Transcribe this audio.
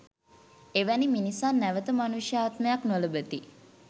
එවැනි මිනිසා නැවත මනුෂ්‍ය ආත්මයක් නොලබති